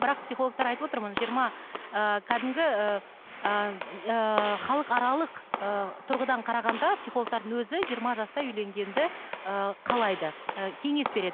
бірақ психологтар айтып отыр мына жиырма ыыы кәдімгі ыыы ыыы халықаралық ыыы тұрғыдан қарағанда психологтардың өзі жиырма жаста үйленгенді ыыы қалайды ы кеңес береді